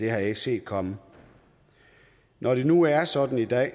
har jeg ikke set komme når det nu er sådan i dag